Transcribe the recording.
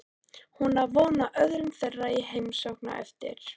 Hún á von á öðrum þeirra í heimsókn á eftir.